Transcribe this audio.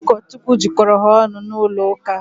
Ụkọchukwu jikọrọ ha ọnụ n'ụlọ ụka.